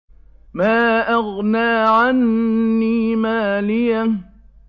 مَا أَغْنَىٰ عَنِّي مَالِيَهْ ۜ